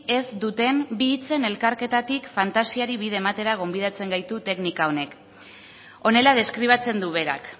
ez duten bi hitzen elkarketatik fantasiari bide ematera gonbidatzen gaitu teknika honek honela deskribatzen du berak